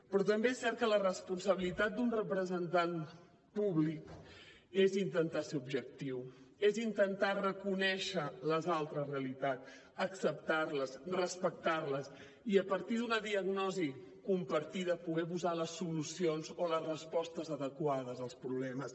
però també és cert que la responsabilitat d’un representant públic és intentar ser objectiu és intentar reconèixer les altres realitats acceptar les respectar les i a partir d’una diagnosi compartida poder posar les solucions o les respostes adequades als problemes